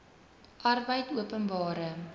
arbeidopenbare